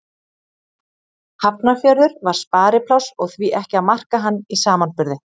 Hafnarfjörður var sparipláss og því ekki að marka hann í samanburði.